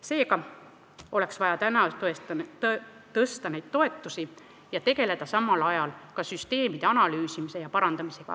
Seega oleks vaja täna neid toetusi tõsta ja tegeleda samal ajal edasi süsteemide analüüsimise ja parandamisega.